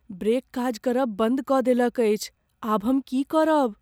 Brake काज करब बन्द कऽ देलक अछि। आब हम की करब?